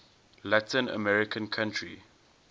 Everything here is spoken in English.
latin american country